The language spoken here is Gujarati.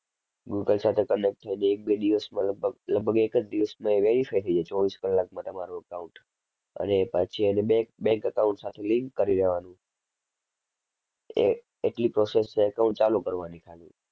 Google સાથે connect થાય તો એક બે દિવસમાં લગભગ, લગભગ એક જ દિવસમાં એ verify થઈ જાય ચોવીસ કલાકમાં તમારું account. અને પછી એને bank, bank account સાથે link કરી દેવાનું. એ એટલી process છે accont ચાલુ કરવાની ખાલી.